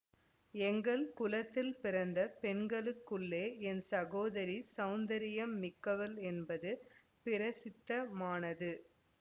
எங்கள் குலத்தில் பிறந்த பெண்களுக்குள்ளே என் சகோதரி சௌந்தரியம் மிக்கவள் என்பது பிரசித்தமானது